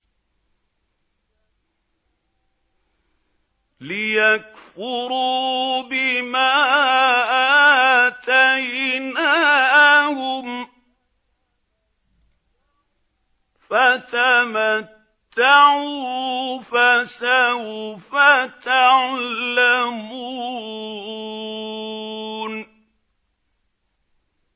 لِيَكْفُرُوا بِمَا آتَيْنَاهُمْ ۚ فَتَمَتَّعُوا ۖ فَسَوْفَ تَعْلَمُونَ